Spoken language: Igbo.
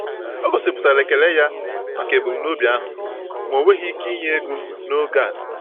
O gosipụtara ekele ya maka ebumnobi ahụ, ma o nweghị ike inye ego n’oge a.